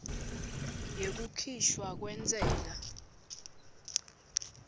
yekukhishwa kwentsela